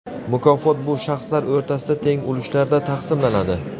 mukofot bu shaxslar o‘rtasida teng ulushlarda taqsimlanadi.